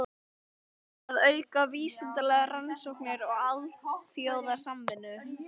Að auka vísindalegar rannsóknir og alþjóðasamvinnu.